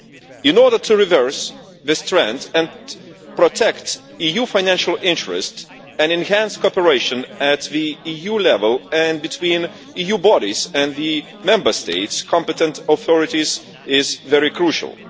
In order to reverse this trend and protect EU financial interest, enhanced cooperation at EU level and between EU bodies and the Member State competent authorities is crucial.